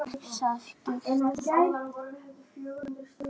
Hún komst ekki hjá því.